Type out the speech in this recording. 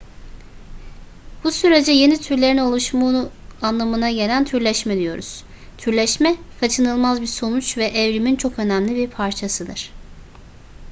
bu sürece yeni türlerin oluşumu anlamına gelen türleşme diyoruz türleşme kaçınılmaz bir sonuç ve evrimin çok önemli bir parçasıdır